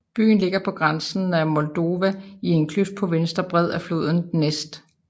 Byen ligger på grænsen til Moldova i en kløft på venstre bred af floden Dnestr